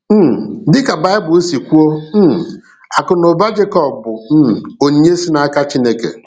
um Dị ka Bible si kwuo, um akụ̀ na ụba Jekọb bụ um onyinye si n’aka Chine.